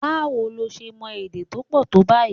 Báwo lo ṣe mọ èdè tó pọ̀ tó báyìí?